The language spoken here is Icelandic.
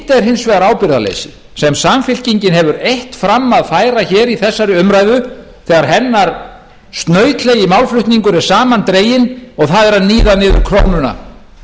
hins vegar ábyrgðarleysi sem samfylkingin hefur eitt fram að færa hér í þessari umræðu þegar hennar snautlegi málflutningur er saman dreginn og það er að níða niður krónuna